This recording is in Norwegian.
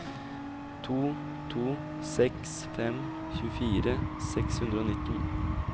to to seks fem tjuefire seks hundre og nitten